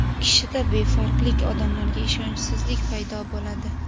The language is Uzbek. Kishida befarqlik, odamlarga ishonchsizlik paydo bo‘ladi.